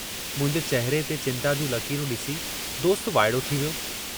मुंहिंजे चहिरे ते चिंता जूं लकीरूं ॾिसी, दोस्त वाइड़ो थी वियो।